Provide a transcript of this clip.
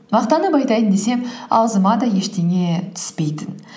мақтанып айтайын десем ауызыма да ештеңе түспейтін